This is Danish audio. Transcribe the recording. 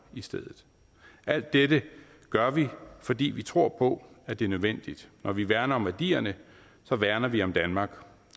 i stedet alt dette gør vi fordi vi tror på at det er nødvendigt når vi værner om værdierne værner vi om danmark